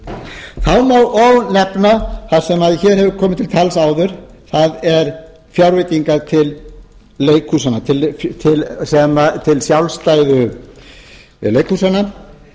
nefna það sem hér hefur komið hér til tals áður það eru fjárveitingar til leikhúsanna til sjálfstæðu leikhúsanna